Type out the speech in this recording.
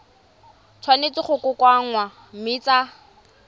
tshwanetse go kokoanngwa mme tsa